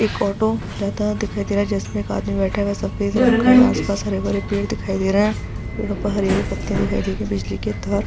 एक ऑटो जाता हुआ दिखाई दे रहा है जिसमें एक आदमी बैठा हुआ है सफ़ेद रंग का आस-पास हरे-भरे पेड़ दिखाई दे रहे है पेड़ पर हरे-हरे पत्ते दिखाई दे रहे है बिजली के तार --